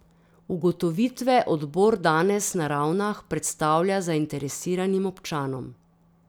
Ugotovitve odbor danes na Ravnah predstavlja zainteresiranim občanom.